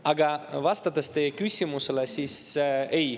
Aga vastan teie küsimusele: ei.